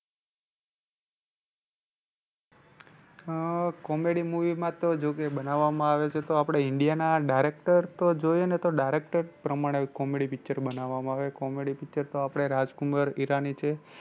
અ comedy movie માં તો જો કે બનાવામાં આવે છે તો આપણે india નાં directors તો જોઈએ ને તો directors પ્રમાણે comedy picture બનાવામાં આવે. comedy picture તો આપણે રાજ કુમાર ઈરાની છે.